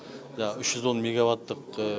жаңағы үш жүз он мегаваттық